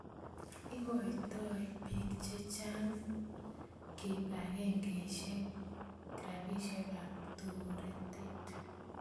Igoitoi piik che chang' ak kipakengeisyek ropisyek ap toretet